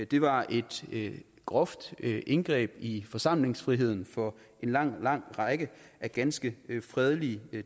det var et groft indgreb i forsamlingsfriheden for en lang lang række af ganske fredelige